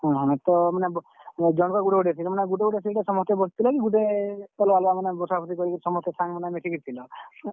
ହଁ ହଁ, ତ ମାନେ, ଜଣ କ ଗୁଟେ ଗୁଟେ seat ମାନେ ଗୁଟେ ଗୁଟେ seat ରେ ସମସ୍ତେ ବସିଥିଲ କି ଗୁଟେ, ଅଲ୍ ଗା ଅଲ୍ ଗା ମାନେ ବସାବୁସିକରି କରି ସମସ୍ତେ ସାଙ୍ଗ ମାନେ ମିଶିକିରି ଥିଲ?